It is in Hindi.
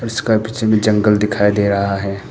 इसके पीछे भी जंगल दिखायी दे रहा है।